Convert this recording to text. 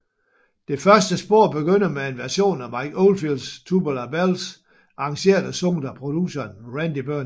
Det første spor begynder med en version af Mike Oldfields Tubular Bells arrangeret og sunget af produceren Randy Burns